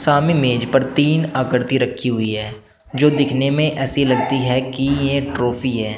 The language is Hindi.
हम मेज पर तीन आकृति रखी हुई है जो दिखने में ऐसी लगती है की यह ट्रॉफी है।